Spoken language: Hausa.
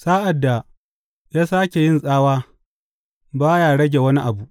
Sa’ad da ya sāke yin tsawa ba ya rage wani abu.